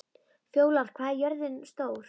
Fjólar, hvað er jörðin stór?